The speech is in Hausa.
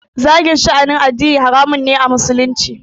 Zagin sha'anin addini haramun ne a musulunci